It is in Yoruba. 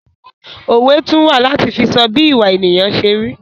Òwe tún wà láti fi sọ bí ìwà ènìyàn se rí